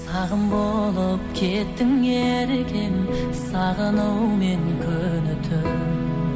сағым болып кеттің еркем сағынумен күні түн